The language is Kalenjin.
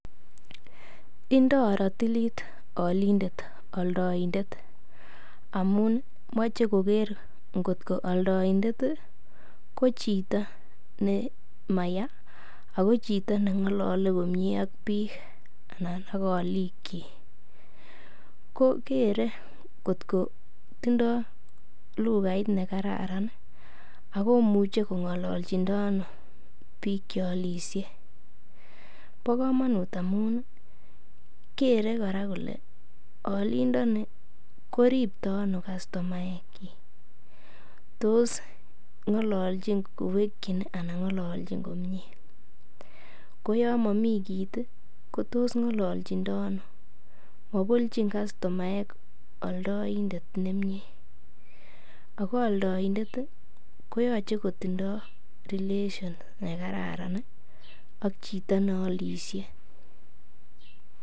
indo rotilit olindet oldoindet amun moche koger ngot ko oldoindet ko chito nemaya, ako neng'olole ak biik anan ko olikyik, ko kere kot ko tindo lugait nekararan akomuche kong'ololjindo ano biik cheolisye, bo komunut amun kere kora kole olindoni koripto ano kastomaekchik, tos ng'olole kowekyin ni anan ng'ololjin komyee, ko yom momi kiit ii ko tos ng'ololjindo ano, mabolchin kastomaek oldoindet nemie, ako oldoindet ii koyoche kotindo relation nekararan ak chito neolisye.